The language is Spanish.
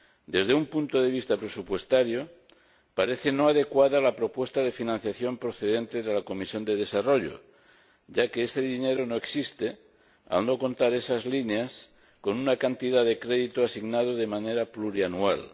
Desde un punto de vista presupuestario, no parece adecuada la propuesta de financiación procedente de la Comisión de Desarrollo, ya que este dinero no existe, al no contar esas líneas con una cantidad de crédito asignado de manera plurianual